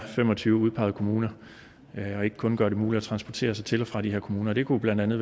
fem og tyve udpegede kommuner og ikke kun gøre det muligt at transportere sig til og fra de her kommuner og det kunne blandt andet